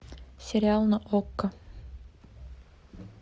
сериал на окко